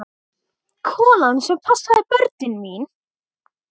Konan sem passaði börnin mín.